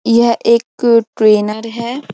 यह एक ट्रेनर है ।